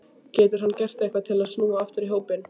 Getur hann gert eitthvað til að snúa aftur í hópinn?